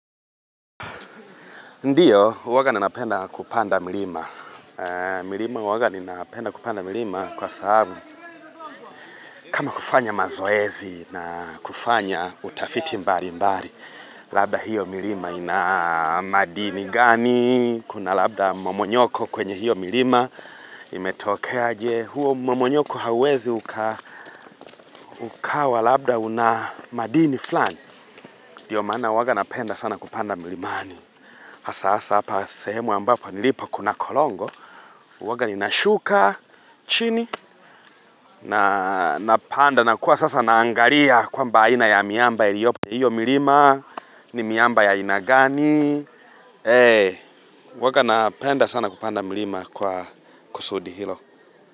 Ndio, huwanga ninapenda kupanda mlima. Milima huwanga ninapenda kupanda milima kwa sababu kama kufanya mazoezi na kufanya utafiti mbali mbali. Labda hiyo milima ina madini gani, kuna labda mmomonyoko kwenye hiyo milima imetokea aje. Huo mmomonyoko hauwezi uka ukawa labda unamadini fulani. Ndio maana huwanga napenda sana kupanda milimani. Sasa hapa sehemu ambapo nilipo kuna kolongo, huwanga ninashuka, chini, na napanda na kuwa sasa naangalia kwamba aina ya miamba iliopo. Hiyo mirima ni miamba ya aina gani, ee, huwaga napenda sana kupanda milima kwa kusudi hilo.